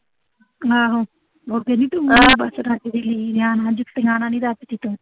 ਨੀ ਤੂੰ ਕਿਸੇ ਪਾਸਿਓਂ ਰੱਜਦੀ ਜੁੱਤੀਆਂ ਨਾਲ ਨੀਂ ਰੱਜਦੀ ਤੂੰ